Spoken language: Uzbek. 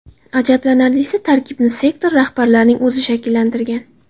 Ajablanarlisi, tarkibni sektor rahbarining o‘zi shakllantirgan.